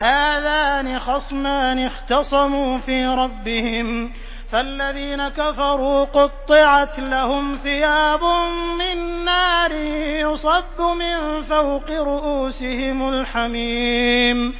۞ هَٰذَانِ خَصْمَانِ اخْتَصَمُوا فِي رَبِّهِمْ ۖ فَالَّذِينَ كَفَرُوا قُطِّعَتْ لَهُمْ ثِيَابٌ مِّن نَّارٍ يُصَبُّ مِن فَوْقِ رُءُوسِهِمُ الْحَمِيمُ